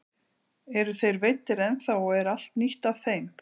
Eru þeir veiddir ennþá og er allt nýtt af þeim?